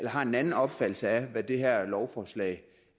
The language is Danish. har en anden opfattelse af hvad det her lovforslag